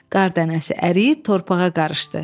Qar dənəsi əriyib torpağa qarışdı.